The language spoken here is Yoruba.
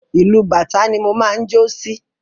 Ìlù bàtá ni mo máa ń jó sí.